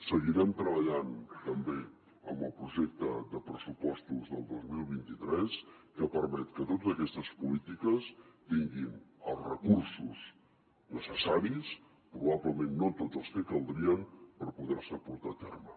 seguirem treballant també en el projecte de pressupostos del dos mil vint tres que permet que totes aquestes polítiques tinguin els recursos necessaris probablement no tots els que caldrien per poder se portar a terme